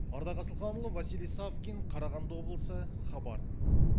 ардақ асылханұлы василий савкин қарағанды облысы хабар